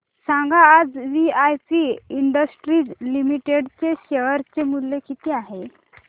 सांगा आज VIP industries limited चे शेअर चे मूल्य किती आहे